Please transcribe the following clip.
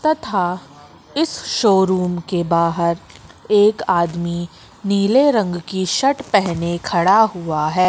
तथा इस शोरूम के बाहर एक आदमी नीले रंग की शर्ट पहने खड़ा हुआ है।